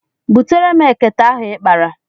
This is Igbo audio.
Butere m ekete ahụ ị kpara.